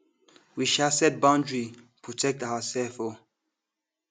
we um set boundary protect ourselves um